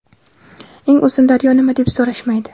Eng uzun daryo nima deb so‘rashmaydi.